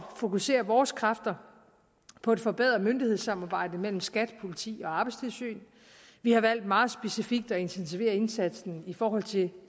fokusere vores kræfter på et forbedret myndighedssamarbejde mellem skat politi og arbejdstilsyn vi har valgt meget specifikt at intensivere indsatsen i forhold til